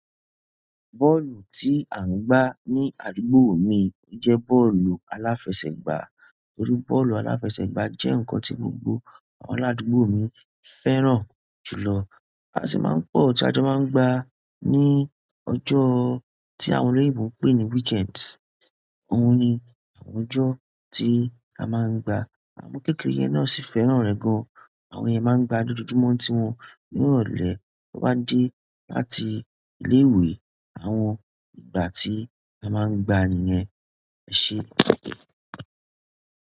Bọ́ọ̀lù tí à ń gbá ní àdúgbò mi jẹ́ bọ́ọ̀lù aláfẹsẹ̀gbá. Nítorí bọ́ọ̀lù aláfẹsẹ̀gbá jẹ́ ǹkan tí gbogbo àwọn aládùgbò mi fẹ́ràn jù lọ. A sì máa ń pọ̀ tí a máa ń gbá ní ọjọ́ tí àwọn olórí ìbò ń pè ní weekend. Òun ni àwọn ọjọ́ tí a máa ń gbá. Àwọn ọmọ kékeré yẹn náà sì fẹ́ràn rẹ̀ gan. Àwọn yẹn máa ń gbá lójoojúmọ́ tí wọ́n ni ìrọ̀lẹ́ ti won ba de láti ilé ìwé. Àwọn ìgbà tí a máa ń gba niyẹn ẹ ṣe.